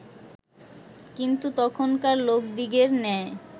কিন্তু তখনকার লোকদিগের ন্যায়